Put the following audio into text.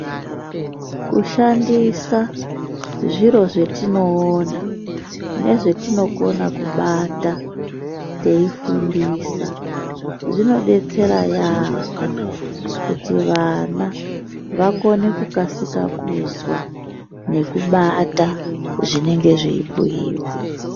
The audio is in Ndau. Kushandisa zviro zvetinoona nezvetinokona kubata teifundisa. Zvinodetsera yaamho kuti vana vakone vakasika kuzwa nekubata zvinenge zveibhuiwa.